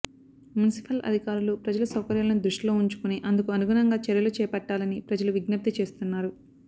మున్సిఫల్ అధికారులు ప్రజల సౌకర్యాలను దృష్టిలో వుంచుకొని అందుకు అనుగుణంగా చర్యలు చేపట్టలని ప్రజలు విజ్ఙప్తి చేస్తున్నారు